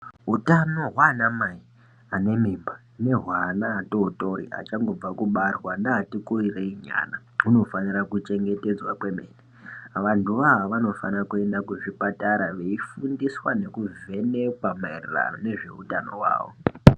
Utano hwaanamai anemimba nehweana atootori achangobva kubarwa neatikurireinyana hunofanira kuchengetedzwa kwemene. Vantuwo awa vanofane kuenda kuzvipatara veifundiswa nekuvhekekwa maererano neutano hwawo.